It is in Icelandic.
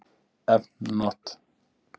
Efn not